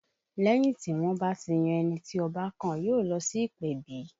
Lẹ́yìn tí wọ́n bá ti yan ẹni tí Ọba kàn, yóò lọ sí ìpèbí